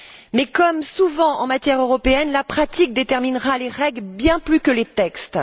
Mais, comme souvent en matière européenne, la pratique déterminera les règles bien plus que les textes.